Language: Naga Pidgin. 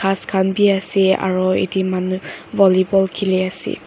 bus khan bhi ase aru etia manu vollyball kheli ase.